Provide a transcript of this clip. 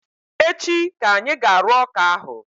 Echi ka anyị ga-arụ ọka ahụ